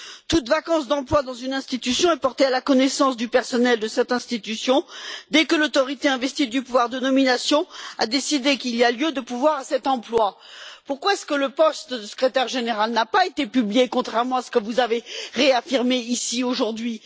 Toute vacance d'emploi dans une institution est portée à la connaissance du personnel de cette institution dès que l'autorité investie du pouvoir de nomination a décidé qu'il y a lieu de pourvoir à cet emploi. Pourquoi le poste de secrétaire général n'a t il pas été publié, contrairement à ce que vous avez réaffirmé ici aujourd'hui?